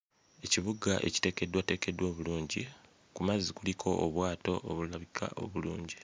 Ekibuga ekiteekeddwateekeddwa obulungi ku mazzi kuliko obwato obulabika obulungi.